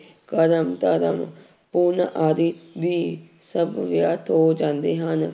ਕਰਮ ਧਰਮ ਪੁੰਨ ਆਦਿ ਵੀ ਸਭ ਵਿਅਰਥ ਹੋ ਜਾਂਦੇ ਹਨ।